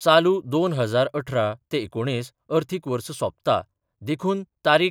चालू दोन हजार अठरा ते एकुणीस अर्थिक वर्स सोपता देखून तारीख.